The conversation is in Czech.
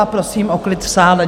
A prosím o klid v sále.